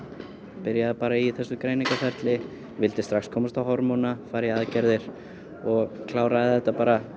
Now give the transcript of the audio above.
byrjaði í þessu greiningarferli vildi strax komast á hormóna fara í aðgerðir og kláraði þetta